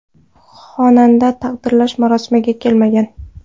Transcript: Xonanda taqdirlash marosimiga kelmagan.